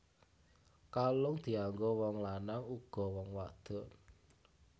Kalung dianggo wong lanang uga wong wadon